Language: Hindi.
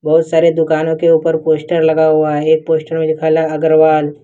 बहुत सारे दुकानों के ऊपर पोस्टर लगा हुआ है एक पोस्टर में अग्रवाल।